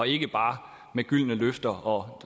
ikke bare med gyldne løfter og